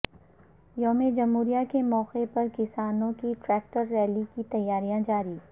یوم جمہوریہ کے موقع پر کسانوں کی ٹریکٹر ریلی کی تیاریاں جاری